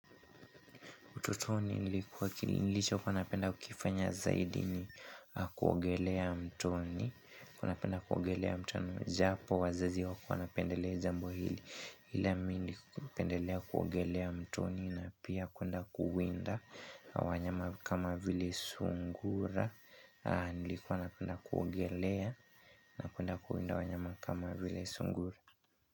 Ututoni nilichokua napenda kukifanya zaidi ni kuogelea mtoni. NiliKuwa napenda kuogelea mtoni japo wazazi hawakuwa wanapendelea jambo hili. Ile mimi nilipendelea kuogelea mtoni na pia kuenda kuwinda wanyama kama vile sungura. Nilikuwa napenda kuogelea na kuenda kuwinda wanyama kama vile sungura.